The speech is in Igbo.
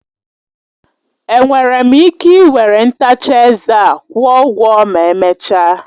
Enwere m ike ị were ntacha eze a kwụọ ụgwọ ma emechaa.